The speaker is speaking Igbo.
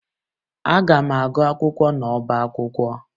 Aga m agụ akwụkwọ n'ọba akwụkwọ